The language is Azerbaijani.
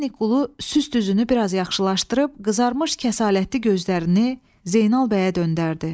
Ürədniki qulu süst üzünü bir az yaxşılaşdırıb, qızarmış kəsalətli gözlərini Zeynal bəyə döndərdi.